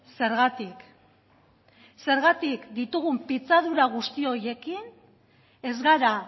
zergatik zergatik ditugun pitzadura guzti horiekin ez gara